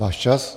Váš čas!